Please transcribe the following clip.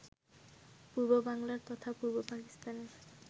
পূর্ব বাংলার তথা পূর্ব পাকিস্তানের